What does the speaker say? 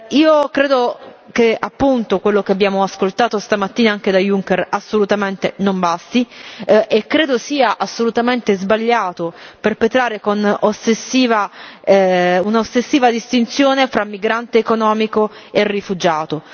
Io credo che quello che abbiamo ascoltato stamattina anche da Juncker assolutamente non basti e credo sia assolutamente sbagliato perpetrare con un'ossessiva distinzione fra migrante economico e rifugiato.